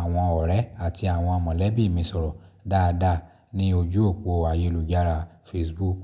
àwọn ọ̀rẹ́ àti àwọn mọ̀lẹ́bí mi sọ̀rọ̀ dáadáa ní ojú òpó ayélujára Facebook.